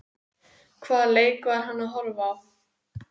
Hvaða leik var hann að horfa á?